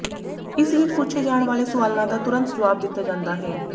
ਇਸ ਵਿਚ ਪੁੱਛੇ ਜਾਣ ਵਾਲੇ ਸਵਾਲਾਂ ਦਾ ਤੁਰੰਤ ਜਵਾਬ ਦਿੱਤਾ ਜਾਂਦਾ ਹੈ